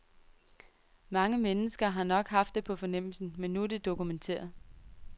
Mange mennesker har nok haft det på fornemmelsen, men nu er det dokumenteret.